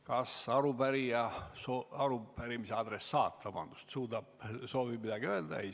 Kas arupärimise adressaat soovib midagi öelda?